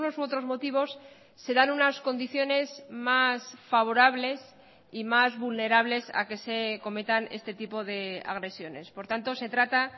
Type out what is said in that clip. u otros motivos se dan unas condiciones más favorables y más vulnerables a que se cometan este tipo de agresiones por tanto se trata